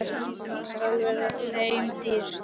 Það skal verða þeim dýrt!